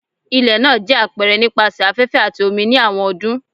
Ilẹ naa jẹ apẹrẹ nipasẹ afẹfẹ ati omi ni awọn ọdun